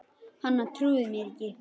Hann trúði mér ekki